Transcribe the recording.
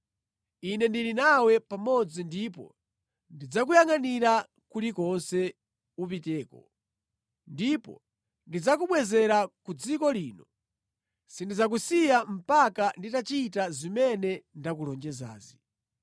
Ine ndili nawe pamodzi ndipo ndidzakuyangʼanira kulikonse upiteko, ndipo ndidzakubwezera ku dziko lino. Sindidzakusiya mpaka nditachita zimene ndakulonjezazi.”